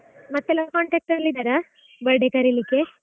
ಮತ್ತೆಲ್ಲಾ contact ಅಲ್ಲಿ ಇದ್ದಾರಾ birthday ಕರೀಲಿಕ್ಕೆ?